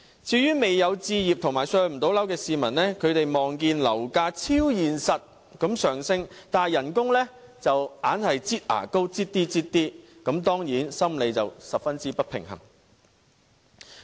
至於未有置業和無法"上樓"的市民，他們看到樓價超現實地上升，但工資卻總是"擠牙膏"般逐少增加，當然心理十分不平衡。